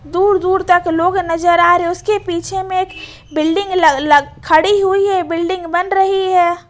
दूर दूर तक लोग नजर आ रहे हैं उसके पीछे में एक बिल्डिंग लग लग खड़ी हुई है बिल्डिंग बन रही है।